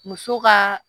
Muso ka